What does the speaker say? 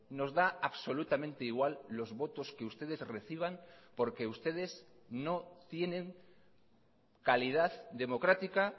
nos da absolutamente igual los votos que ustedes reciban porque ustedes no tienen calidad democrática